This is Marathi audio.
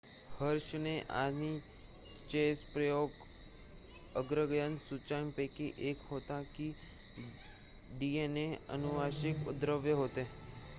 हर्शे आणि चेस प्रयोग अग्रगण्य सूचनांपैकी 1 होता की डीएनए अनुवांशिक द्रव्य होते